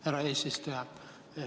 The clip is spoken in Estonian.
Härra eesistuja!